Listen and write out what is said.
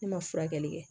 Ne ma furakɛli kɛ